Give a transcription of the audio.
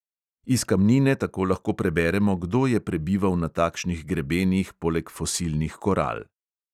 Iz kamnine tako lahko preberemo, kdo je prebival na takšnih grebenih poleg fosilnih koral.